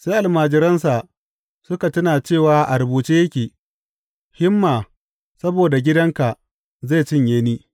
Sai almajiransa suka tuna cewa a rubuce yake, Himma saboda gidanka zai cinye ni.